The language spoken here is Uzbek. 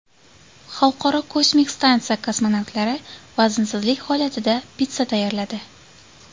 Xalqaro kosmik stansiya kosmonavtlari vaznsizlik holatida pitssa tayyorladi .